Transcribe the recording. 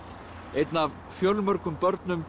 einn af fjölmörgum börnum